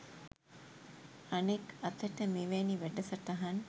අනෙක් අතට මෙවැනි වැඩසටහන්